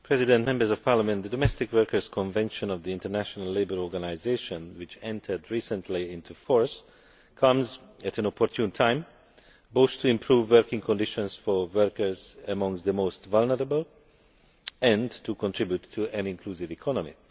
Mr President, the Domestic Workers Convention of the International Labour Organization, which recently entered into force, comes at an opportune time, both to improve working conditions for workers amongst the most vulnerable and to contribute to an inclusive economy.